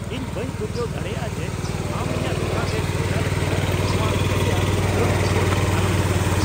ᱤᱧ ᱵᱟᱹᱧ ᱯᱟᱹᱛᱭᱟᱹᱣ ᱫᱟᱲᱮᱭᱟᱜᱼᱟ ᱡᱮ ᱟᱢ ᱤᱧᱟᱹᱜ ᱫᱳᱠᱟᱱ ᱨᱮ ᱥᱚᱭᱫᱟ ᱞᱟᱹᱜᱤᱫ ᱱᱚᱶᱟ ᱥᱟᱹᱨᱤᱭᱟᱜ ᱪᱷᱟᱹᱲ ᱠᱩᱯᱚᱱ ᱟᱞᱚᱢ ᱦᱟᱛᱟᱣᱼᱟ ᱾